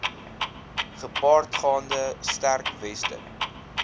gepaardgaande sterk weste